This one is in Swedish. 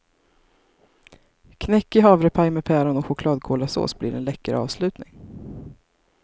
Knäckig havrepaj med päron och chokladkolasås blir en läcker avslutning.